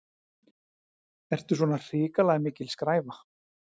Ertu svona hrikalega mikil skræfa?